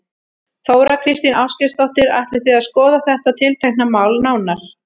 Þóra Kristín Ásgeirsdóttir: Ætlið þið að skoða þetta tiltekna mál nánar?